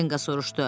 Kenqo soruşdu.